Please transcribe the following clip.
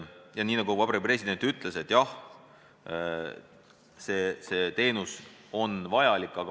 Ja ka Vabariigi President ütles, et jah, see teenus on vajalik.